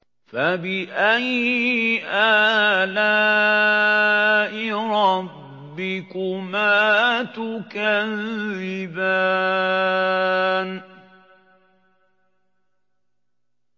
فَبِأَيِّ آلَاءِ رَبِّكُمَا تُكَذِّبَانِ